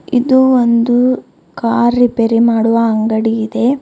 ಇದು ಒಂದು car repair ಮಾಡುವ ಅಂಗಡಿ ಇದೆ.